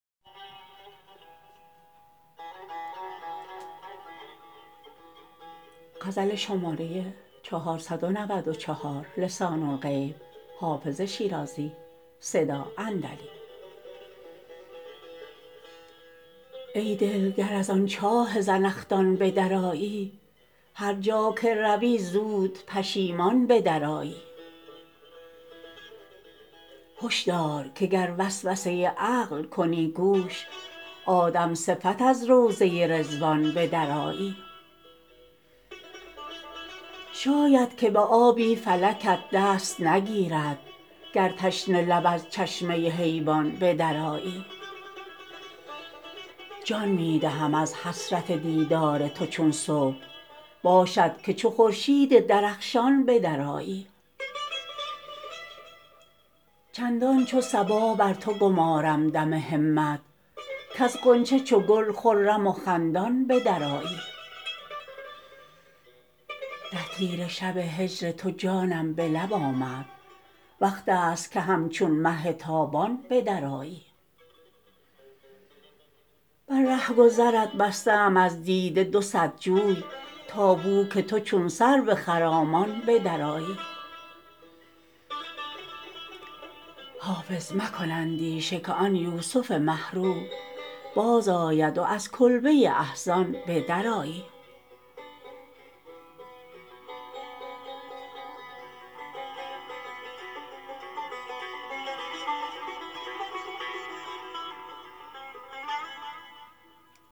ای دل گر از آن چاه زنخدان به درآیی هر جا که روی زود پشیمان به درآیی هش دار که گر وسوسه عقل کنی گوش آدم صفت از روضه رضوان به درآیی شاید که به آبی فلکت دست نگیرد گر تشنه لب از چشمه حیوان به درآیی جان می دهم از حسرت دیدار تو چون صبح باشد که چو خورشید درخشان به درآیی چندان چو صبا بر تو گمارم دم همت کز غنچه چو گل خرم و خندان به درآیی در تیره شب هجر تو جانم به لب آمد وقت است که همچون مه تابان به درآیی بر رهگذرت بسته ام از دیده دو صد جوی تا بو که تو چون سرو خرامان به درآیی حافظ مکن اندیشه که آن یوسف مه رو بازآید و از کلبه احزان به درآیی